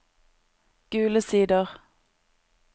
Gule Sider